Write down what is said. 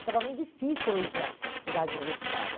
Ficava muito difícil eu ir para a cidade universitária.